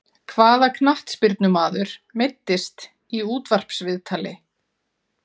Hvaða knattspyrnumaður meiddist í útvarpsviðtali?